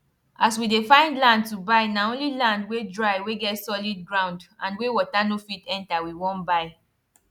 as we dey find land to buy na only land wey dry wey get solid ground and wey water no fit enter we won buy